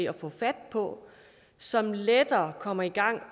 at få fat på som lettere kommer i gang